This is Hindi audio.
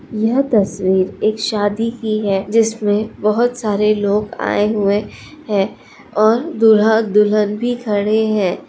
यह तस्वीर एक शादी की है जिसमें बहुत सारे लोग आए हुए है और दूल्हा-दुल्हन भी खड़े हैं।